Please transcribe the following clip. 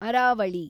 Aravalli